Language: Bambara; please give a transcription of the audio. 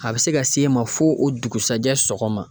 A bi se ka s'e ma fo o dugusajɛ sɔgɔma.